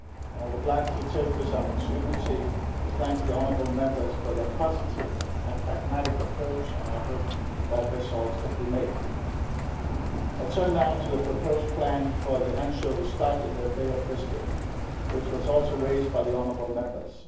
I would like to take this opportunity to thank the Honourable Members for their positive and pragmatic approach and I hope that results can be achieved. I turn now to the proposed plan for the anchovy stock in the Bay of Biscay, which was also raised by the Honourable Members.